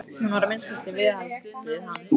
Hún var að minnsta kosti viðhaldið hans.